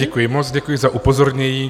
Děkuji moc, děkuji za upozornění.